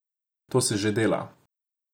To se že dela.